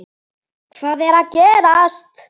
HVAÐ ER AÐ GERAST??